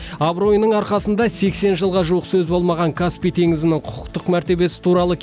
абыройының арқасында сексен жылға жуық сөз болмаған каспий теңізінің құқықтық мәртебесі туралы